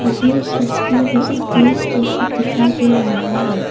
मुझे इस तस्वीर में एक पुलिस स्टेशन दिखाई दे रहा है।